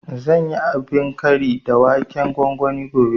Zan yi abin kari da waken gwangwani gobe